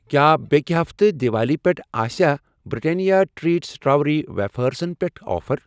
کیٛاہ بیٚکہِ ہفتہٕ دِوالی پٮ۪ٹھ آسیا برٛٹینیا ٹریٖٹ سِٹٲروی ویفٲرسن پٮ۪ٹھ آفر؟